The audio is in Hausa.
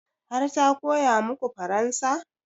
Har ta koya maku faransa?